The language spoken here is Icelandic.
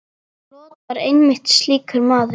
Lot var einmitt slíkur maður.